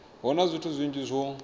hu na zwithu zwinzhi zwo